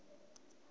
dzule vha tshi khou i